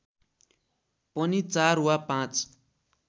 पनि ४ वा ५